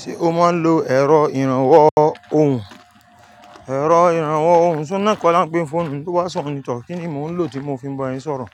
Ṣé o máa ń lo ẹ̀rọ ìrànwọ́ ohùn? Ẹ̀rọ ìrànwọ́ ohùn, ṣé óhun náà kọ́ là ń pe n foonu ni? Tó bá se ọhun ní tọ̀, kínni mò ń lò tí mo fi ń bá yín sọ̀rọ̀?